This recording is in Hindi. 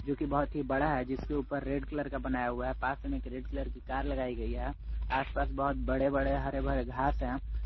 जोकि बहुत ही बड़ा है जिसके ऊपर रेड कलर का बनाया हुआ है पास में रेड कलर की कार लगाई गई है आसपास बहोत बड़े बड़े हरे भरे घास हैं।